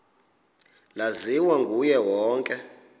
laziwa nguye wonke